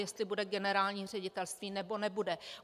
Jestli bude generální ředitelství, nebo nebude.